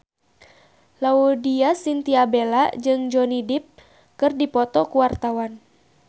Laudya Chintya Bella jeung Johnny Depp keur dipoto ku wartawan